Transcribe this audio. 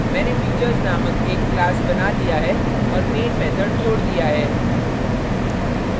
मैंने features named एक class बना दिया है और main method जोड दिया है